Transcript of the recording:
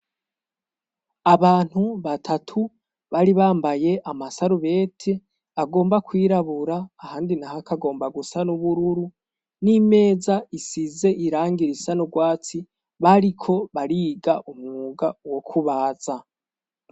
Abantu batatu bari bambaye amasarubeti agomba kwirabura ahandi naho akagomba gusa n'ubururu, n'imeza isize irangi risa n'urwatsi bariko bariga umwuga wo kubaza.